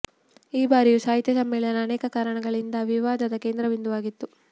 ಈ ಬಾರಿಯ ಸಾಹಿತ್ಯ ಸಮ್ಮೇಳನ ಅನೇಕ ಕಾರಣಗಳಿಂದ ವಿವಾದದ ಕೇಂದ್ರ ಬಿಂದುವಾಗಿತ್ತು